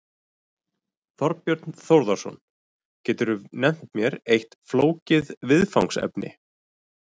Þorbjörn Þórðarson: Geturðu nefnt mér eitt flókið viðfangsefni?